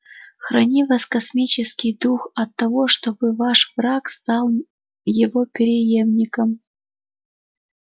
храни вас космический дух от того чтобы ваш враг стал его преемником